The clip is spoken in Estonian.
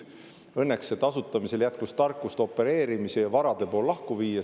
Õnneks asutamisel jätkus tarkust opereerimise ja varade pool lahku viia.